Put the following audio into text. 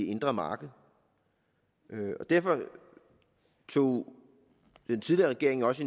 indre marked og derfor tog den tidligere regering også